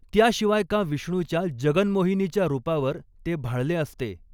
त्याशिवाय का विष्णूच्या जगन्मोहिनीच्या रूपावर ते भाळले असते